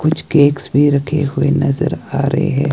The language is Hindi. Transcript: कुछ केक्स भी रखे हुए नजर आ रहे--